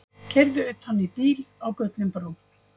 Keyrði utan í bíl á Gullinbrú